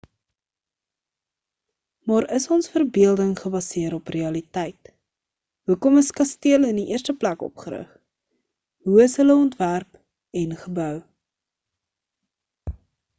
maar is ons verbeelding gebaseer op realiteit hoekom is kastele in die eerste plek opgerig hoe is hulle ontwerp en gebou